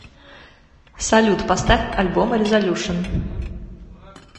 салют поставь альбом резолюшн